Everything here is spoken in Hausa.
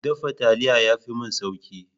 Dafa taliya ya fi mini sauƙi.